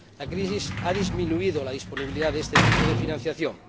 La crisis ha disminuido la disponibilidad de este tipo de financiación.